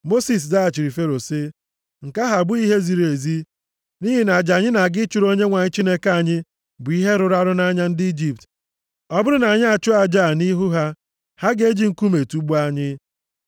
Mosis zaghachiri Fero sị, “Nke ahụ abụghị ihe ziri ezi, nʼihi na aja anyị na-aga ịchụrụ Onyenwe anyị Chineke anyị bụ ihe rụrụ arụ nʼanya ndị Ijipt. Ọ bụrụ na anyị achụọ aja a nʼihu ha, ha ga-eji nkume tugbuo anyị.